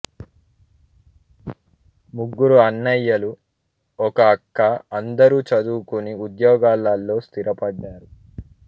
ముగ్గురు అన్నయ్యలు ఒక అక్క అందరూ చదువుకుని ఉద్యోగాల్లో స్థిరపడ్డారు